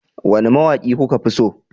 Wane mawaki kuka fi so?